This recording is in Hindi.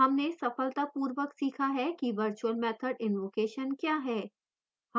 हमने सफलतापूर्वक सीखा है कि virtual method invocation we है